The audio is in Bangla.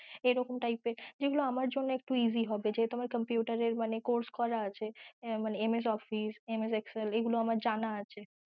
এরকম type এর যেগুলো আমার জন্য একটু easy হবে যেহেতু আমার computer এর মানে course করা আছে মানে MSOfficeMSExcel এগুলো আমার জানা আছে ।